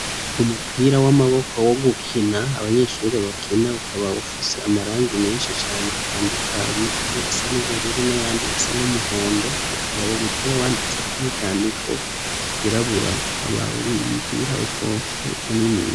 Umupira w'amaboko wo gukina abanyeshure bakina ukaba ufise amarangi menshi cane atandukanye amwe asa n'ubururu n'ayandi asa n'umuhondo ukaba uwo mupira wanditseko n'ivyandiko vyirabura ukaba ar'umupira upomfye muniniya.